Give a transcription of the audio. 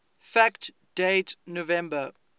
fact date november